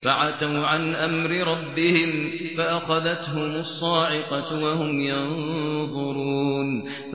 فَعَتَوْا عَنْ أَمْرِ رَبِّهِمْ فَأَخَذَتْهُمُ الصَّاعِقَةُ وَهُمْ يَنظُرُونَ